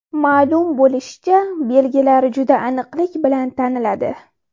Ma’lum bo‘lishicha, belgilar juda aniqlik bilan taniladi.